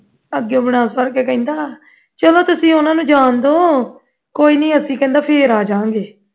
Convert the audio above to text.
ਅੱਗੇ ਉਹ ਬਣਾ ਸਵਾਰਕੇ ਕਹਿੰਦਾ ਚਲੋ ਤੁਸੀਂ ਉਹਨਾਂ ਨੂੰ ਜਾਣ ਦਿਓ ਕੋਈ ਨਹੀਂ ਕੋਈ ਨਹੀਂ ਅਸੀਂ ਕਹਿੰਦਾ ਫਿਰ ਆ ਜਾਵਾਂਗੇ